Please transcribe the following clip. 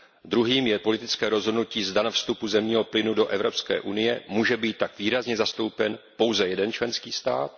Druhým je politické rozhodnutí, zda na vstupu zemního plynu do Evropské unie může být tak výrazně zastoupen pouze jeden členský stát.